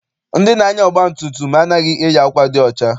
Ndị na-anya ọgba tum tum a naghị eyi akwa dị ọcha.